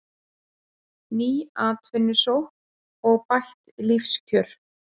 Ný atvinnusókn og bætt lífskjör